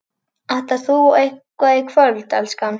Ætlar þú eitthvað í kvöld, elskan?